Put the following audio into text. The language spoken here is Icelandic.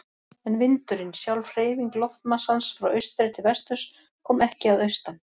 En vindurinn, sjálf hreyfing loftmassans frá austri til vesturs, kom ekki að austan.